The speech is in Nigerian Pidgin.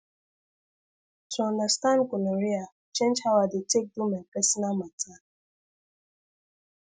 to understand gonorrhea change how i dey take do my personal matter